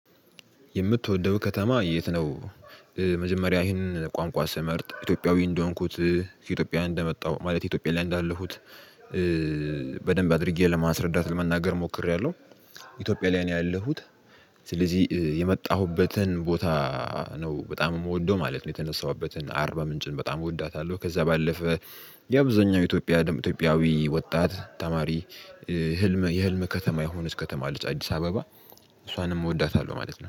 የምትወደው ከተማ የት ነው? መጀመሪያ ይህንን ቋንቋ ስመርጥ ኢትዮጵያዊ እንደሆንኩት ከኢትዮጵያ እንደመጣው ማለት ኢትዮጵያ ላይ እንዳለሁት በደንብ አድርጌ ለማስረዳት ለመናገር ሞክሬያለሁ። ኢትዮጵያ ላይ ነው ያለሁት። ስለዚህ የመጣሁበትን ቦታ ነው በጣም የምወደው ማለት ነው። የተነሳሁበትን አርባ ምንጭን በጣም እወዳታለሁ። ከዚያ ባለፈ የአብዛኛው ኢትዮጵያ ደም ኢትዮጵያዊ ወጣት ተማሪ። ህልም የህልም ከተማ የሆነች ከተማ አለች። አዲስ አበባ እሷንም እወዳታለሁ ማለት ነው